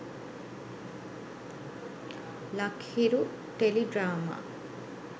lak hiru teledrama